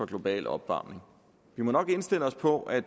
globale opvarmning vi må nok indstille os på at